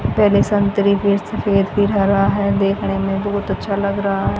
पहले संतरी फिर सफेद फिर हरा है देखने में बहुत अच्छा लग रहा है।